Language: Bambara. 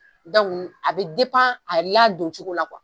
a be a ladon cogo la